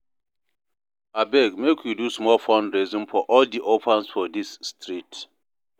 Abeg make we do small fundraising for all di orphans for dis street